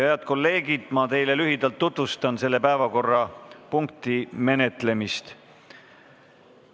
Head kolleegid, ma tutvustan teile lühidalt selle päevakorrapunkti menetlemist.